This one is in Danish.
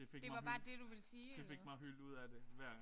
Det fik mig det fik mig hylet ud af det hver gang